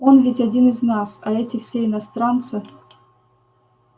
он ведь один из нас а эти все иностранцы